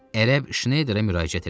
Ərəb Şneyderə müraciət elədi.